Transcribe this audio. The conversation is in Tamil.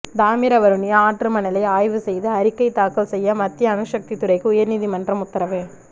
தாமிரவருணி ஆற்று மணலை ஆய்வு செய்து அறிக்கை தாக்கல் செய்ய மத்திய அணுசக்தி துறைக்கு உயா்நீதிமன்றம் உத்தரவு